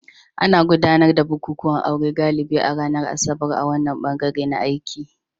Ana gudanar da bukukuwan aure galibi a ranar Asabar a wannan bangare na t aiki